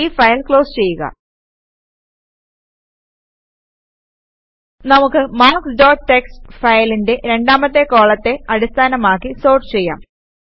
ഈ file close ചെയ്യുക നമുക്ക് മാർക്ക്സ് ഡോട്ട് ടിഎക്സ്ടി ഫയലിന്റെ രണ്ടാമത്തെ കോളത്തെ അടിസ്ഥാനമാക്കി സോർട്ട് ചെയ്യാം